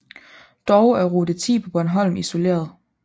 Dog er rute 10 på Bornholm isoleret